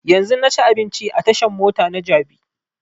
Yanzun na ci abinci a tashan mota na jabi